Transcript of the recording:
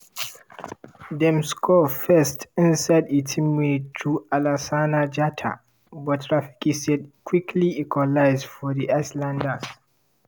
dem score first inside 18 minute through alassana jatta - but rafiki said quickly equalise for di islanders.